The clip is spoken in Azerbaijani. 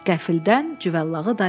Qəfildən Cüvəllağı dayandı.